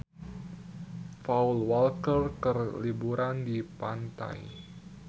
Paul Walker keur liburan di pantai